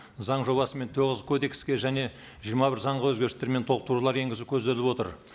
заң жобасымен тоғыз кодекске және жиырма бір заңға өзгерістер мен толықтырулар енгізу көзделіп отыр